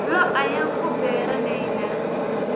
Lo' ayaan ku beeranaynaa